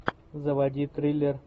заводи триллер